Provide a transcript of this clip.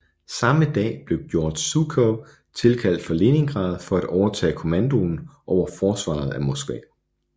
Samme dag blev Georgij Zjukov tilkaldt fra Leningrad for at overtage kommandoen over forsvaret af Moskva